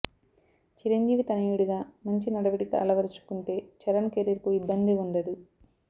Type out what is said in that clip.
చిరంజీవి తనయుడిగా మంచి నడవడిక అలవరుచుకుంటే చరణ్ కెరీర్ కు ఇబ్బంది ఉండదు